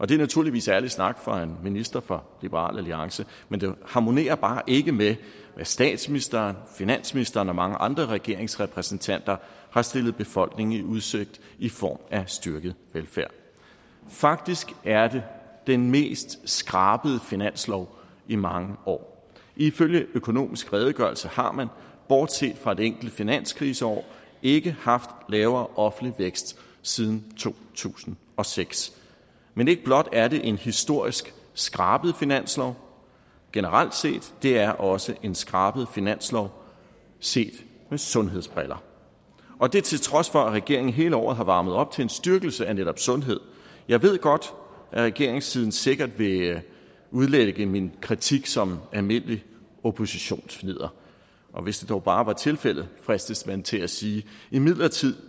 det er naturligvis ærlig snak fra en minister fra liberal alliance men det harmonerer bare ikke med det statsministeren finansministeren og mange andre regeringsrepræsentanter har stillet befolkningen i udsigt i form af styrket velfærd faktisk er det den mest skrabede finanslov i mange år ifølge økonomisk redegørelse har man bortset fra et enkelt finanskriseår ikke haft lavere offentlig vækst siden to tusind og seks men ikke blot er det en historisk skrabet finanslov generelt set det er også en skrabet finanslov set med sundhedsbriller og det er til trods for at regeringen hele året har varmet op til en styrkelse af netop sundhed jeg ved godt at regeringssiden sikkert vil udlægge min kritik som almindeligt oppositionsfnidder og hvis det dog bare var tilfældet fristes man til at sige imidlertid